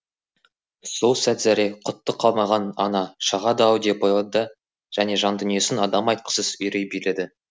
сол сәт зәре құты қалмаған ана шағады ау деп ойлады және жан дүниесін адам айтқысыз үрей биледі